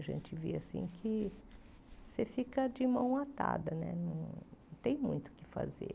A gente vê assim que você fica de mão atada, não tem muito o que fazer.